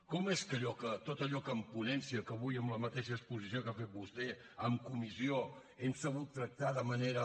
com és que tot allò que en ponència que avui en la mateixa exposició que ha fet vostè en comissió hem sabut tractar de manera